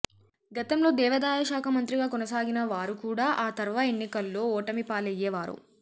గతంలో దేవాదాయశాఖ మంత్రిగా కొనసాగిన వారూ కూడా ఆ తర్వా ఎన్నికల్లో ఓటమిపాలయ్యేవారు